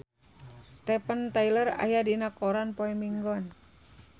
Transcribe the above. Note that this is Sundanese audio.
Steven Tyler aya dina koran poe Minggon